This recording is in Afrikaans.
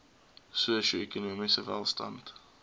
sosio ekonomiese welstand